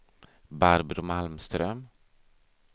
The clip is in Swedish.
Barbro Malmström